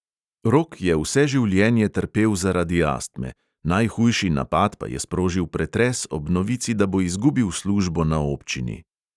Rok je vse življenje trpel zaradi astme, najhujši napad pa je sprožil pretres ob novici, da bo izgubil službo na občini.